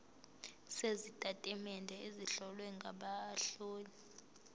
sezitatimende ezihlowe ngabahloli